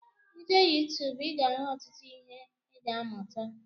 I jee youtuube ị ga ahụ ọtụtụ ihe ị ga amuta